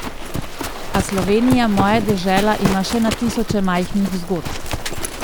A Slovenija, moja dežela ima še na tisoče majhnih zgodb.